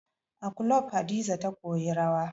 A kulob Hadiza ta koyi rawa